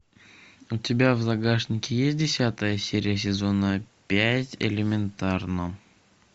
у тебя в загашнике есть десятая серия сезона пять элементарно